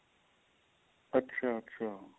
ਅੱਛਾ ਅੱਛਾ